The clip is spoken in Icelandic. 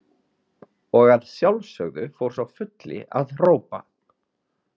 Og að sjálfsögðu fór sá fulli að hrópa.